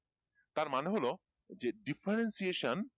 তার মানে হলো যে differentiation